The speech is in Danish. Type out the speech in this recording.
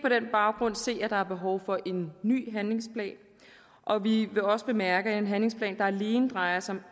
baggrund se at der er behov for en ny handlingsplan og vi vil også bemærke er en handlingsplan der alene drejer sig